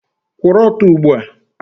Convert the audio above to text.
Kwụrụ ọtọ ugbu a!